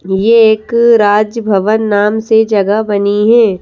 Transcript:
यह एक राज भवन नाम से जगह बनी है।